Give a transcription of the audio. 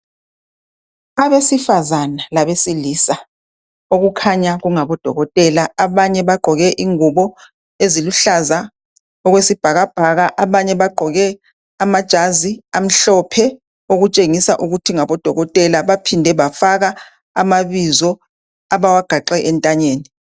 Abesifazana labesilisa okukhanya kungabodokotela .Abanye bagqoke ingubo eziluhlaza okwesibhakabhaka abanye bagqoke amajazi amhlophe okutshengisa ukuthi ngabodokotela baphinde bafaka amabizo abawagaxe entanyeni .